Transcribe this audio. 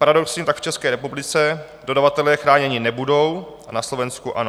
Paradoxně tak v České republice dodavatelé chráněni nebudou a na Slovensku ano.